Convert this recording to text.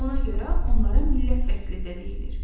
Ona görə onlara millət vəkili də deyilir.